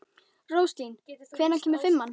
Róslín, hvenær kemur fimman?